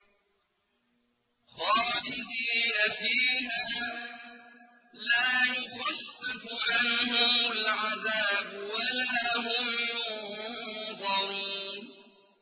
خَالِدِينَ فِيهَا ۖ لَا يُخَفَّفُ عَنْهُمُ الْعَذَابُ وَلَا هُمْ يُنظَرُونَ